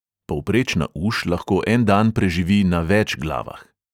Povprečna uš lahko en dan preživi na več glavah.